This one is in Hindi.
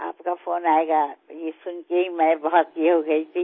आपका फ़ोन आयेगा यह सुन के ही मैं बहुत ये हो गयी थी